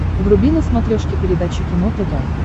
вруби на смотрешке передачу кино тв